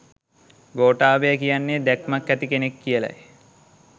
ගෝඨාභය කියන්නේ දැක්මක් ඇති කෙනෙක් කියලයි